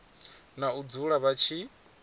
na u dzula vha tshi